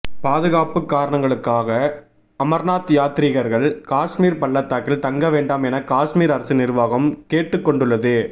பாதுகாப்புக் காரணங்களுக்காக அமர்நாத் யாத்ரீகர்கள் காஷ்மீர் பள்ளத்தாக்கில் தங்க வேண்டாம் என காஷ்மீர் அரசு நிர்வாகம் கேட்டுக்கொண்டுள்ளது